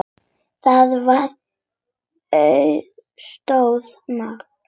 Það var auðsótt mál.